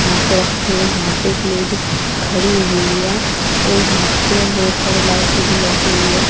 यहां पर रखे हुए यहां पर एक लेडिस खड़ी हुई है और यहां पर बहोत सारी लाइट भी लगी हुई है।